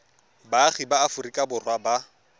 baagi ba aforika borwa ba